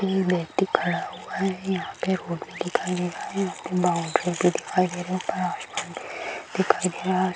एक व्यक्ति खड़ा हुआ है यहां पे रोड भी दिखाई दे रहा है यहां पे बाउंड्री भी दिखाई दे रही है ऊपर आसमान भी दिखाई दे रहा है।